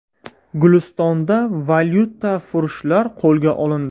Gulistonda valyutafurushlar qo‘lga olindi.